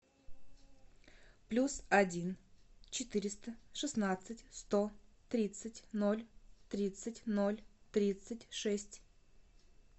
плюс один четыреста шестнадцать сто тридцать ноль тридцать ноль тридцать шесть